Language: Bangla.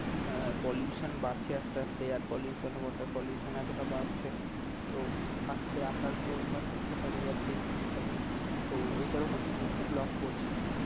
আহ pollution বাড়ছে আস্তে আস্তে আর air pollution water pollution এতটা বাড়ছে তো পাখিদের আসার পরিমান অনেকটা কমে যাচ্ছে এই শীতকালে তো ওই টার উপরে আমি একটা blog পড়ছিলাম